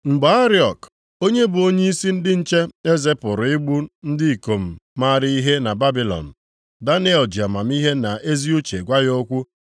Mgbe Ariok, onye bụ onyeisi ndị nche eze pụrụ igbu ndị ikom maara ihe na Babilọn, Daniel ji amamihe na ezi uche gwa ya okwu.